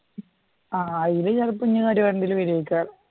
ആ യു വരുവാണെങ്കിൽ